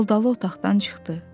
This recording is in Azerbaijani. Daldalı otaqdan çıxdı.